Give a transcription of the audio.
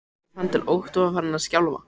Ég fann til ótta og var farin að skjálfa.